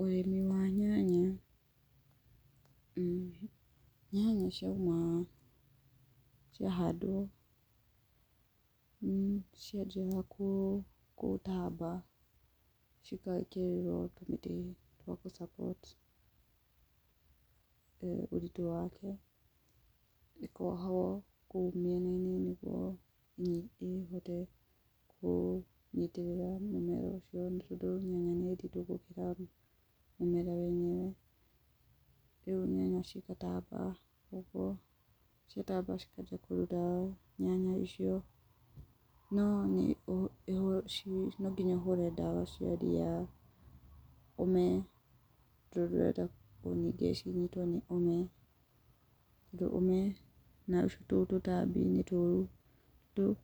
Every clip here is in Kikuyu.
Ũrĩmi wa nyanya, nyanya cia uma, cia handwo, cianjĩrĩra gũtamba, cĩgekĩrĩrwo indo cia gũ support ũritũ wacio. Cikohwo kũu mĩena-inĩ nĩguo ningĩ cihote kũnyitĩrĩra mũmera ũcio, tondũ nyanya nĩnditũ gũkĩra mũmera wenyewe. Riu nyanya cigatambaa ũguo, cikambia kũruta nyanya icio, cikahũrwo ndawa nyanya icio. No nonginya ũhũre ndawa cia ria, ũme, tondũ ndũrenda cinyitwo nĩ ũme. Ũndũ ũme, na tũtambi nĩ tũũru, nĩ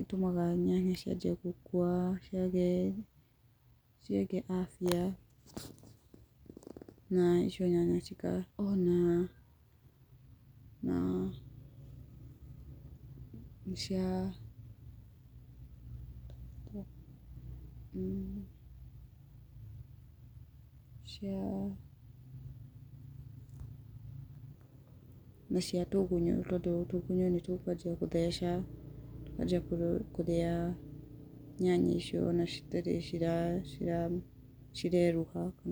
itũmaga nyanya cianjie gũkua, ciage afya, na nyanya icio cikambia gũkorwo na, cia cia tũgunyũ tũkambia gũtheca, tũkambia kũrĩa nyanya icio, ona citarĩ cireruha.